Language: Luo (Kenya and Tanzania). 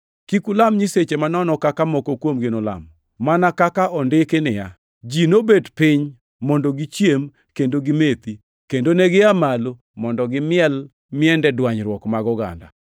Kik ulam nyiseche manono kaka moko kuomgi nolamo, mana kaka ondiki niya, “Ji nobet piny mondo gichiem kendo gimethi, kendo negia malo mondo gimiel miende dwanyruok mag oganda.” + 10:7 \+xt Wuo 32:6\+xt*